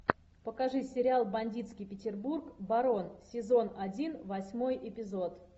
покажи сериал бандитский петербург барон сезон один восьмой эпизод